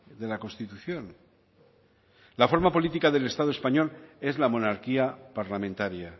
de la constitución la forma política del estado español es la monarquía parlamentaria